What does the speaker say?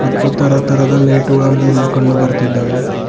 ಮತ್ತು ತರತರದ ಲೈಟುಗಳನ್ನು ಇಲ್ಲಿ ಕಂಡು ಬರ್ತಿದ್ದಾವೆ.